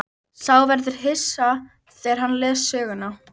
Sá verður hissa þegar hann les söguna.